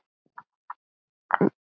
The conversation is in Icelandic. Helgi víst er helgur maður.